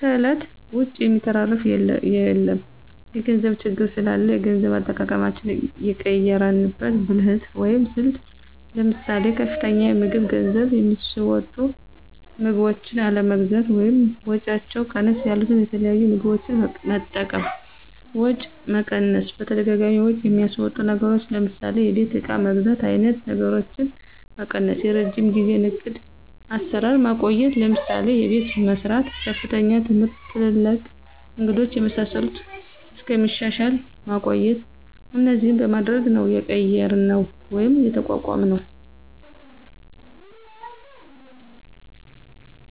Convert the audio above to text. ከእለት ወጭ የሚተራፍ የለም የገንዘብ ችግር ስላላ የገንዘብ አጠቃቀማችን የቀየራንበት ብልህት ወይም ስልት ለምሳሌ፦ ከፍተኛ የምግብ ገንዝብ የሚስወጡ ምግቦችን አለመግዛት ወይም ወጫቸው ቀነስ ያሉት የተለያዩ ምግቦች መጠቀም፣ ወጪ መቀነስ በተደጋጋሚ ወጭ የሚያስወጡ ነገሮችን ለምሳሌ የቤት እቃ መግዛት አይነት ነገሮችን መቀነሰ፣ የረጅም ጊዜው ዕቅድ አሰራር ማቆየት ለምሳሌ፦ አቤት መሰራት፣ ከፍተኛ ትምህርት ትላልቅ እንግዶች የመሳሰሉት እስከሚሻሻል ማቆየት እነዚህን በማድረግ ነው የቀየራነው ወይም የተቋቋምነውደ